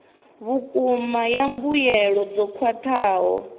vhukuma ya mbuelo dzo khwathaho